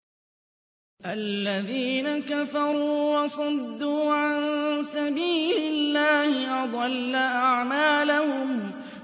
الَّذِينَ كَفَرُوا وَصَدُّوا عَن سَبِيلِ اللَّهِ أَضَلَّ أَعْمَالَهُمْ